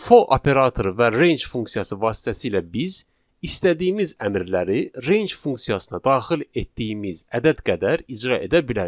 For operatoru və range funksiyası vasitəsilə biz istədiyimiz əmrləri range funksiyasına daxil etdiyimiz ədəd qədər icra edə bilərik.